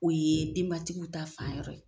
O ye denbatigiw ta fayɔrɔ ye.